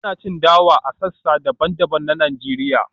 ana cin dawa a sassa daban-daban na Najeriya